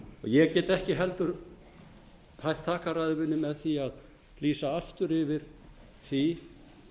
ég get ekki heldur hætt þakkarræðu minni með því að lýsa aftur yfir því